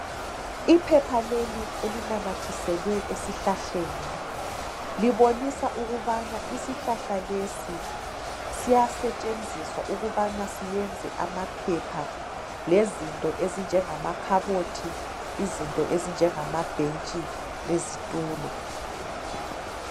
Iphepha leli elinamathiselwe esihlahleni, libonisa ukubana isihlahla lesi siyasetshenziswa ukubana siyenze amaphepha, lezinto ezinjengamakhabothi, izinto ezinjengamabhentshi lezitulo.